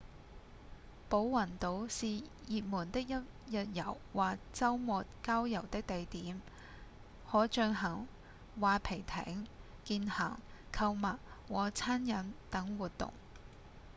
寶雲島是熱門的一日遊或週末郊遊的地點可進行划皮艇、健行、購物和餐飲等活動